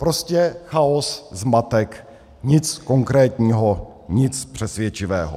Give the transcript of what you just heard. Prostě chaos, zmatek, nic konkrétního, nic přesvědčivého.